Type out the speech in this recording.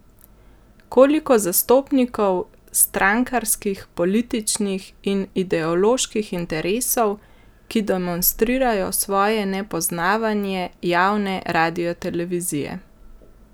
Koliko zastopnikov strankarskih, političnih in ideoloških interesov, ki demonstrirajo svoje nepoznavanje javne radiotelevizije?